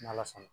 N'ala sɔn na